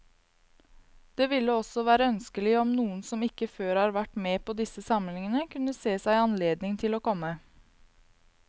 Det ville også være ønskelig om noen som ikke før har vært med på disse samlingene, kunne se seg anledning til å komme.